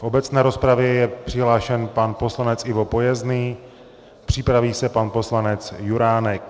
V obecné rozpravě je přihlášen pan poslanec Ivo Pojezný, připraví se pan poslanec Juránek.